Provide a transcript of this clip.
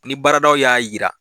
Ni baaradaw y'a jira